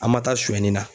An ma taa suɲɛni na